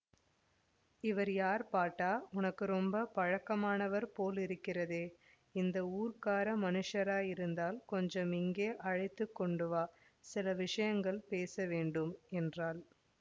இவர் யார் பாட்டா உனக்கு ரொம்ப பழக்கமானவர் போலிருக்கிறதே இந்த ஊர்க்கார மனுஷராயிருந்தால் கொஞ்சம் இங்கே அழைத்து கொண்டுவா சில விஷயங்கள் பேச வேண்டும் என்றாள்